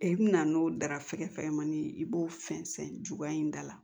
I bi na n'o darafɛgɛn fɛmani i b'o fɛnsɛn cogoya in da la